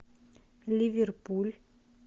ливерпуль